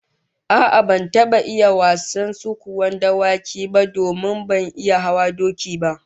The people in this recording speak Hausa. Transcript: A'a, ban taba iya wasan sukuwan dawaki ba domin ban iya hawan doki ba